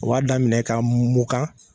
U b'a daminɛ k'a mun kan.